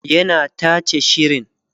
yana tace shirin